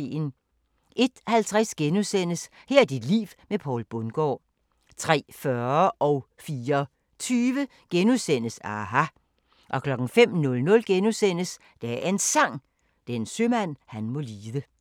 01:50: Her er dit liv med Poul Bundgaard * 03:40: aHA! * 04:20: aHA! * 05:00: Dagens Sang: Den sømand han må lide *